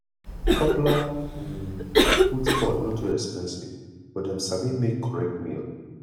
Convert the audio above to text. popular um food spot no too expensive but dem sabi make correct meal